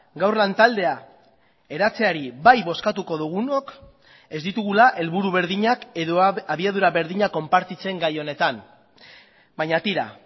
gaur lantaldea eratzeari bai bozkatuko dugunok ez ditugula helburu berdinak edo abiadura berdinak konpartitzen gai honetan baina tira